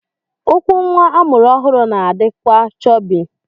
Ụkwụ nwa amụrụ ọhụrụ na-adịkwa chọbị.